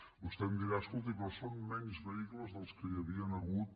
vostè em dirà escolti però són menys vehicles dels que hi havien hagut